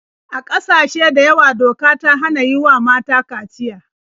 A ƙasashe da yawa doka ta hana yi wa mata kaciya.